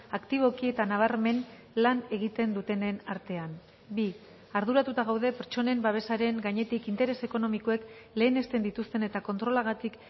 aktiboki eta nabarmen lan egiten dutenen artean bi arduratuta gaude pertsonen babesaren gainetik interes ekonomikoek lehenesten dituzten eta kontrolagatik